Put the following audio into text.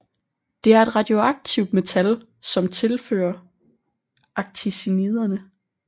Det er et radioaktivt metal som tilhører actiniderne